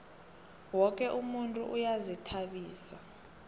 woke umuntu uyazihtabisa